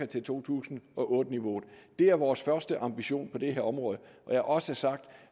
til to tusind og otte niveauet det er vores første ambition på det her område jeg har også sagt at